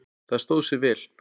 Það stóð sig vel.